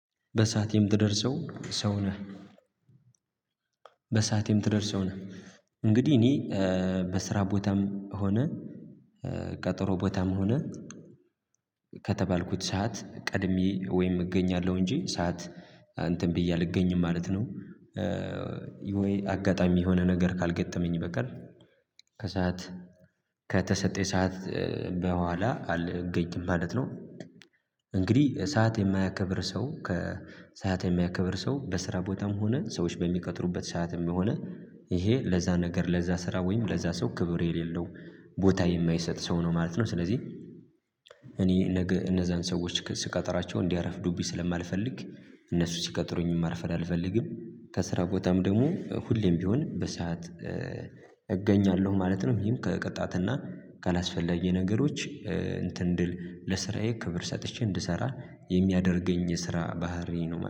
በሰአት የምትደርስ ሰው ነህ? በሰአት የምትደርስ ሰው ነህ? እንግዲህ እኔ ቦታም ሆነ ቀጠሮ ቦታም ሆነ ከተባልኩት ሰዓት ቀድሜ ወይም እገኛለሁ እንጂ ሰዓት እንትን ብዬ አልገኝም ማለት ነው። ወይ አጋጣሚ የሆነ ነገር ካልገጠመኝ በቀር። ከሰአት ከተሰጠኝ ሰዓት በኋላ አልገኝም ማለት ነው። እንግዲህ ሰዓት የማያከብር ሰው ከሰአት የሚያከብር ሰው በስራ ቦታም ሆነ ሰዎች በሚቀጥሩበት ሰዓትም በሆነ ይሄ ለዛ ነገር ለዛ ስራ ወይም ለዛ ሰው ክብር የሌለው ቦታ የማይሰጥ ሰው ነው ማለት ነው። ስለዚህ እኔ ነገ እነዛን ሰዎች ስቀጥራቸው እንዲያረፍዱብኝ ስለማልፈልግ እነሱ ሲቀጥሩኝ ማርፈድ አልፈልግም። ከስራ ቦታም ደግሞ ሁሌም ቢሆን በሰአት እገኛለሁ ማለት ነው። ምክንያቱም ከቅጣትና ካላስፈለጊ ነገሮች እንትን ድል ለስራዬ ክብር ሰጥቼ እንድሰራ የሚያደርገኝ የስራ ባህሪ ነው